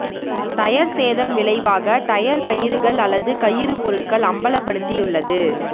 tyre சேதம் விளைவாக tyre கயிறுகள் அல்லது கயிறு பொருட்கள் அம்பலப்படுத்தியுள்ளது